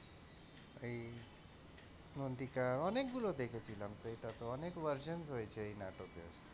এই মন্তিকা অনেকগুলো দেখেছিলাম সেটা তো অনেক version হয়েছে এই নাটকের।